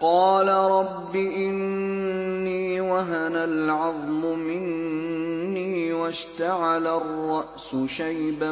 قَالَ رَبِّ إِنِّي وَهَنَ الْعَظْمُ مِنِّي وَاشْتَعَلَ الرَّأْسُ شَيْبًا